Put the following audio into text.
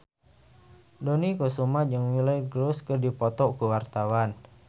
Dony Kesuma jeung Miley Cyrus keur dipoto ku wartawan